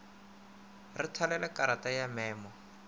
re thalele karata ya memo